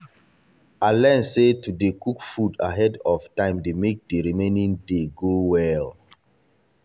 i learn sey to dey cook food ahead of time dey make the remaining day go well